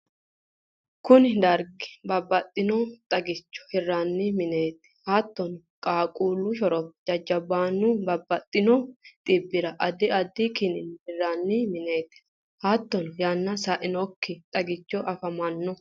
kuni dargi babbaxinoha xagicho hiranni mineeti. hattonni qaaqqullu shorope, jajjabunniha babbaxino xibbira addi addi kiniinna hiranni mineeti. hattonni yanna sainokki xaggich afamanno.